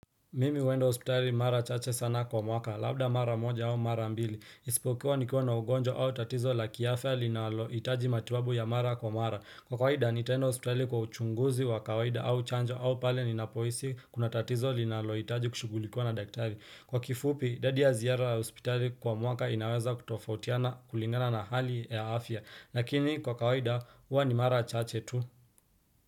Mimi huenda hospitali mara chache sana kwa mwaka, labda mara moja au mara mbili. Isipokuwa nikiwa na ugonjwa au tatizo la kiafya linalohitaji matibabu ya mara kwa mara. Kwa kawaida, nitaenda hospitali kwa uchunguzi wa kawaida au chanjo au pale ninapohisi kuna tatizo linalohitaji kushughulikua na daktari. Kwa kifupi, idadi ya ziara hospitali kwa mwaka inaweza kutofautiana kulingana na hali ya afya. Lakini kwa kawaida, huwa ni mara chache tu.